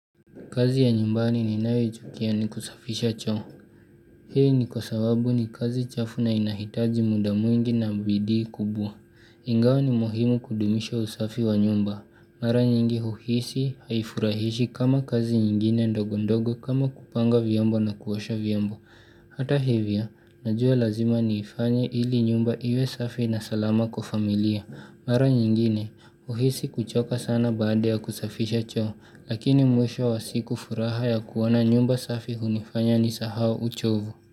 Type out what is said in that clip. Kazi ya nyumbani ninayoichukia ni kusafisha choo. Hii ni kwa sababu ni kazi chafu na inahitaji muda mwingi na bidii kubwa. Ingawa ni muhimu kudumisha usafi wa nyumba. Mara nyingi huhisi haifurahishi kama kazi nyingine ndogo ndogo kama kupanga vyombo na kuosha vyombo. Hata hivyo, najua lazima niifanye ili nyumba iwe safi na salama kwa familia. Mara nyingine, huhisi kuchoka sana baada ya kusafisha choo. Lakini mwisho wa siku furaha ya kuwona nyumba safi hunifanya nisahau uchovu.